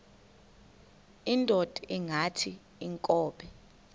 indod ingaty iinkobe